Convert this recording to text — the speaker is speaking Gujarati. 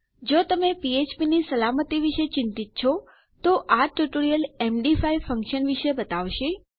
જો તમે ફ્ફ્પ ની સલામતી વિશે ચિંતિત છે તો આ ટ્યુટોરીયલ એમડી5 ફંક્શન વિષે બતાવશે